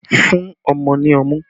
Fún ọmọ ní ọmú!